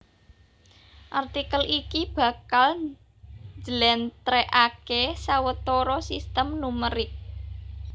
Artikel iki bakal njlèntrèhaké sawetara sistem numerik